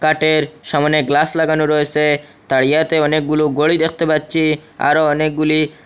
সামনে গ্লাস লাগানো রয়েসে তারিয়াতে অনেকগুলো ঘড়ি দেখতে পাচ্ছি আরো অনেকগুলি--